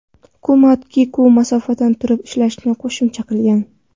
Hukumat Kiku masofadan turib ishlashini qo‘shimcha qilgan.